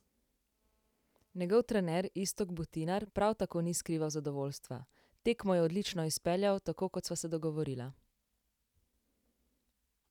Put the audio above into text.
Njegov trener Iztok Butinar prav tako ni skrival zadovoljstva: "Tekmo je odlično izpeljal, tako kot sva se dogovorila.